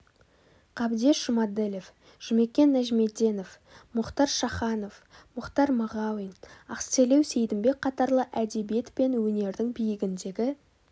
қабдеш жұмаділов жұмекен нәжімеденов мұхтар шаханов мұхтар мағауин ақселеу сейдімбек қатарлы әдебиет пен өнердің биігіндегі